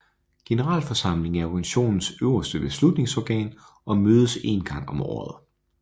Generalforsamlingen er organisationens øverste beslutningsorgan og mødes én gang om året